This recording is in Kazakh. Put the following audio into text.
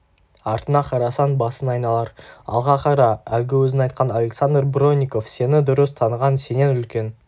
артыңа қарасаң басың айналар алға қара әлгі өзің айтқан александр бронников сені дұрыс таныған сенен үлкен